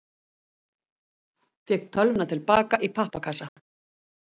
Fékk tölvuna til baka í pappakassa